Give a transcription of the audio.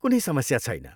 कुनै समस्या छैन।